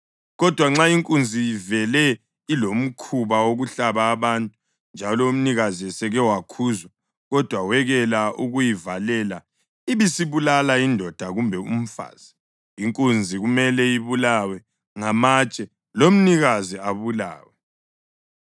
Kodwa nxa inkunzi ivele ilomkhuba wokuhlaba abantu, njalo umnikazi eseke wakhuzwa kodwa wekela ukuyivalela ibisibulala indoda kumbe umfazi, inkunzi kumele ibulawe ngamatshe lomnikazi abulawe.